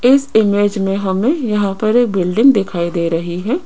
इस इमेज में हमें यहां पर ये बिल्डिंग दिखाई दे रही है।